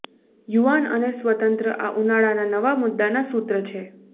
યુવાન અને સ્વતંત્ર આ ઉનાળાના નવા મુદ્દાના સૂત્ર છે